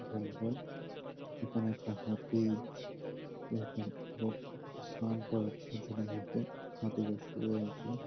জঙ্গল এখানে একটা হাতি একজন লোক স্নান করাচ্ছে। হাতি টা শুয়ে আছে।